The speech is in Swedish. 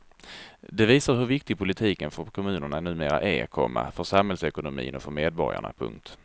Det visar hur viktig politiken för kommunerna numera är, komma för samhällsekonomin och för medborgarna. punkt